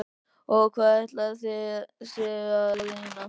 Og hvað ætlið þið séuð að reyna?